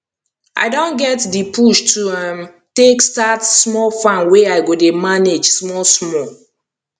i don get di push to um take start small farm wey i go dey manage small small